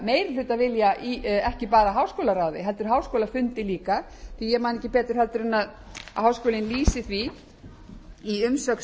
meirihlutavilja í ekki bara háskólaráði hefur háskólafundi líka því að ég man ekki betur en að háskólinn lýsi því í umsögn